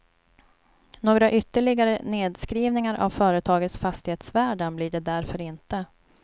Några ytterligare nedskrivningar av företagets fastighetsvärden blir det därför inte.